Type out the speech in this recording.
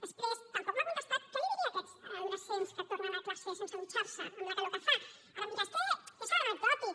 després tampoc m’ha contestat què els diria a aquests adolescents que tornen a classe sense dutxar se amb la calor que fa ara em dirà és què és anecdòtic